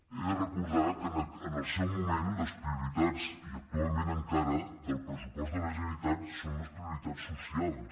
he de recordar que en el seu moment les prioritats i actualment encara del pressupost de la generalitat són les prioritats socials